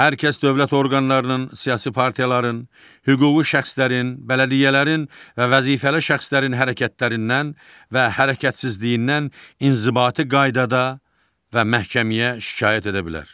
Hər kəs dövlət orqanlarının, siyasi partiyaların, hüquqi şəxslərin, bələdiyyələrin və vəzifəli şəxslərin hərəkətlərindən və hərəkətsizliyindən inzibati qaydada və məhkəməyə şikayət edə bilər.